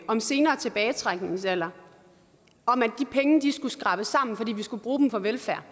om senere tilbagetrækningsalder om at pengene skulle skrabes sammen fordi vi skulle bruge dem på velfærd